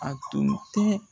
A tun tɛ